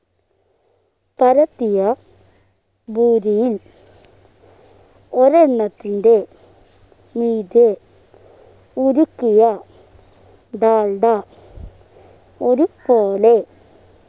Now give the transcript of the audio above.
പരത്തിയ പൂരിയിൽ ഒരെണ്ണത്തിൻ്റെ മീതെ ഉരുക്കിയ ഡാൽഡ ഒരുപോലെ